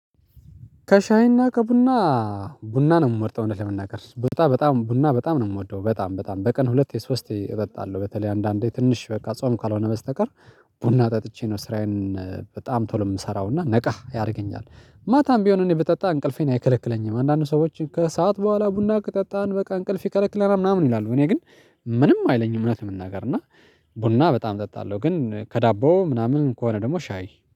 ከሻይ እና ከቡና ቡና ነው የምመርጠው እውነት ለመናገር ቡና በጣም ቡና በጣም ነው የምወደው በጣም በጣም በቀን ሁለቴ ሶስቴ እጠጣለሁ በተለይ አንዳንዴ ትንሽ በቃ ጾም ካልሆነ በስተቀር ቡና ጠጥቼ ነው ስራዬን በጣም ቶሎ የምሰራው እና ነቃ ያደርገኛል። ማታም ቢሆን እኔ ብጠጣ እንቅልፌን አይከለክለኝም አንዳንድ ሰዎች ከሰአት በኋላ ቡና ከጠጣን በቃ እንቅልፍ ይከለክለናል ምናምን ይላሉ እኔ ግን ምንም አይለኝም። እውነት ለመናገር እና ቡና በጣም እጠጣለሁ ግን ከዳቦ ምናምን ከሆነ ደግሞ ሻይ